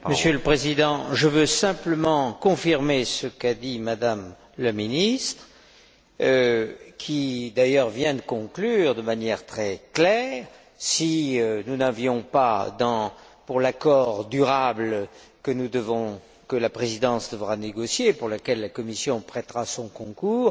Monsieur le Président, je veux simplement confirmer ce qu'a dit M la ministre qui, d'ailleurs, vient de conclure de manière très claire si nous n'avions pas vraiment, pour l'accord durable que la Présidence devra négocier et pour lequel la Commission prêtera son concours,